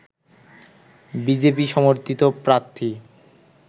BJP সমর্থিত প্রার্থী